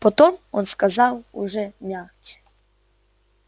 потом он сказал уже мягче